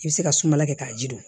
I bɛ se ka sumala kɛ k'a ji don